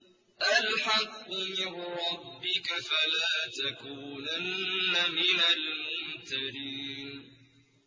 الْحَقُّ مِن رَّبِّكَ ۖ فَلَا تَكُونَنَّ مِنَ الْمُمْتَرِينَ